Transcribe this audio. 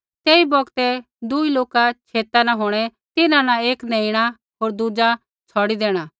तेई बौगतै दूई लोका छेता न होंणै तिन्हां न एक नेइणा होर दुज़ा छ़ौड़ी देणा